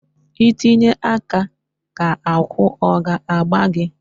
I Tinye aka ka agwụ ọ ga a gbaa gị?